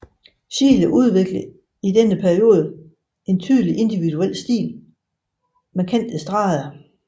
Schiele udviklede i denne periode en tydeligere individuel stil med kantede streger